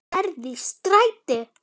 ERT Í STREÐI.